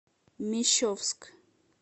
мещовск